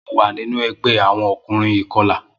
Mo wa ninu ẹgbẹ awọn ọkunrin ikọla.